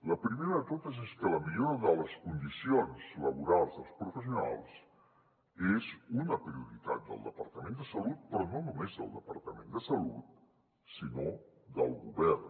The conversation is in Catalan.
la primera de totes és que la millora de les condicions laborals dels professionals és una prioritat del departament de salut però no només del departament de salut sinó del govern